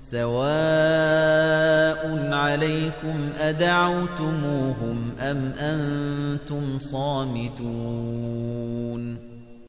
سَوَاءٌ عَلَيْكُمْ أَدَعَوْتُمُوهُمْ أَمْ أَنتُمْ صَامِتُونَ